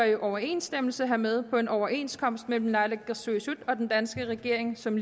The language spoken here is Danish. i overensstemmelse hermed på en overenskomst mellem naalakkersuisut og den danske regering som